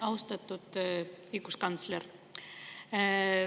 Austatud õiguskantsler!